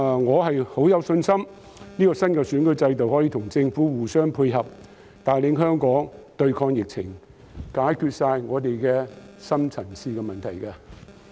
我很有信心這個新的選舉制度可以與政府互相配合，帶領香港對抗疫情，解決我們所有的深層次問題。